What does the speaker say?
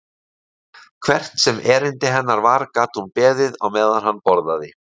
Hvert sem erindi hennar var gat hún beðið á meðan hann borðaði.